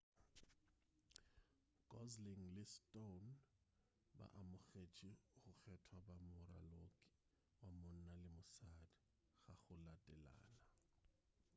gosling le stone ba amogetše go kgethwa ba moraloki wa monna le wa mosadi ka go latelana